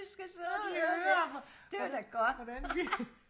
når de hører hvordan vi